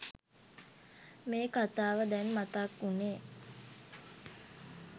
මේ කතාව දැන් මතක් උනේ?